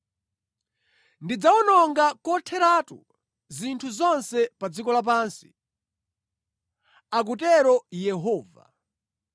“Ndidzawononga kotheratu zinthu zonse pa dziko lapansi,” akutero Yehova.